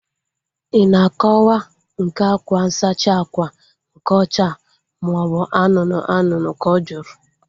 Ị na akọwa nke akwa nsachi ákwà nke ọcha maobu anụnụ anụnụ? Ka ọ jụrụ